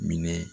Minɛ